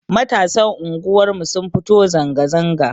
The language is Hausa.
Matasan unguwar mu sun fito zanga zanga